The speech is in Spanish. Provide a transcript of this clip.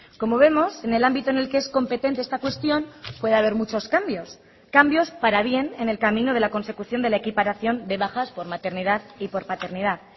como vemos en el ámbito en el que es competente esta cuestión puede haber muchos cambios cambios para bien en el camino de la consecución de la equiparación de bajas por maternidad y por paternidad